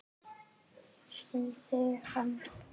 Stundi þungan.